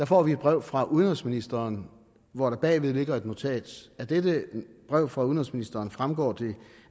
får et brev fra udenrigsministeren hvor der bagved ligger et notat af dette brev fra udenrigsministeren fremgår det